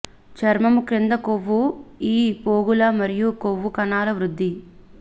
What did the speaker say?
చర్మము క్రింద కొవ్వు ఈ పోగుల మరియు కొవ్వు కణాలు వృద్ధి